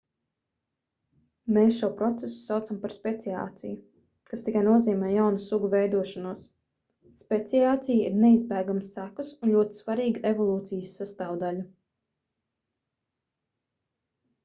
mēs šo procesu saucam par speciāciju kas tikai nozīmē jaunu sugu veidošanos speciācija ir neizbēgamas sekas un ļoti svarīga evolūcijas sastāvdaļa